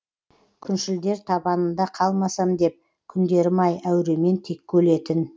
күншілдер табанында қалмасам деп күндерім ай әуремен текке өлетін